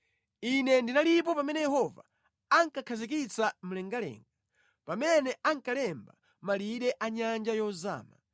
Ine ndinalipo pamene Yehova ankakhazikitsa mlengalenga, pamene ankalemba malire a nyanja yozama,